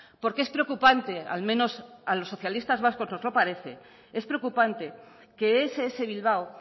porque es preocupante al menos a los socialistas vascos nos lo parece es preocupante que ess bilbao